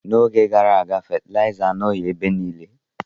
N'oge gara aga, fetilaiza anọghị ebe niile.